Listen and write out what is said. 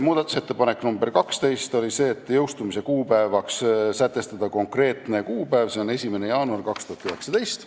Muudatusettepanek nr 2: jõustumise kuupäevaks sätestada konkreetne kuupäev, see on 1. jaanuar 2019.